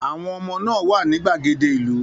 Àwọn ọmọ náà wà ní gbàgede ìlú